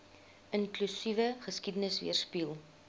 inklusiewe geskiedenis weerspieël